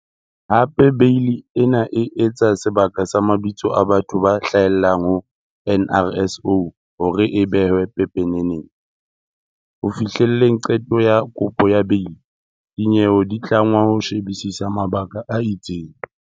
Hape Beili ena e etsa sebaka sa mabitso a batho ba hlahellang ho NRSO hore a behwe pepeneneng. Ho fihlelleng qeto ya kopo ya beili, dinyewe di tlangwa ho shebisisa mabaka a itseng.